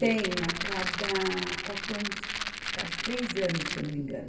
Tem a cada quatro anos, a cada três anos, se eu não me engano.